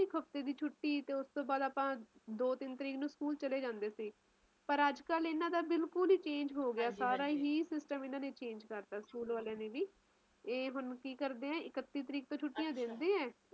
ਇੱਕ ਹਫਤੇ ਦੇ ਛੁੱਟੀ ਤੇ ਉਸ ਤੋਂ ਬਾਅਦ ਆਪਾ ਦੋ-ਤਿੰਨ ਤਰੀਕ ਨੂੰ ਸਕੂਲ ਚਲੇ ਜਾਂਦੇ ਸੀ ਪਰ ਅੱਜ-ਕੱਲ ਇੰਨਾ ਦਾ ਬਿਲਕੁਲ ਹੀ change ਹੋ ਗਿਆ ਸਾਰਾ ਹੀ system ਇਹਨਾਂ ਨੇ change ਕਰਤਾ ਸਕੂਲ ਵਾਲਿਆਂ ਨੇ ਇਹ ਹੁਣ ਕੀ ਕਰਦੇ ਆ ਇੱਕਤੀ ਤਰੀਕ ਤੋਂ ਛੁੱਟੀਆਂ ਦੇ ਦਿੰਦੇ ਆ